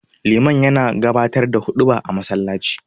Liman yana gabatar da huɗuba a masallaci.